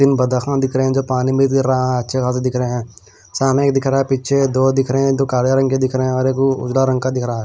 दो बादकों दिख रहा हैजो पानी में गिर रहा है अच्छे खासे दिख रहा हैसामने दिख रहा हैपीछे दो दिख रहे हैदो काले रंग के दिख रहे और एक उदा रंग का गहरा है।